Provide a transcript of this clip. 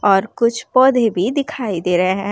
और कुछ पौधे भी दिखाई दे रहें हैं।